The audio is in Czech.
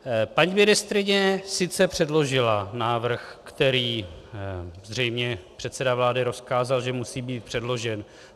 Paní ministryně sice předložila návrh, který zřejmě předseda vlády rozkázal, že musí být předložen.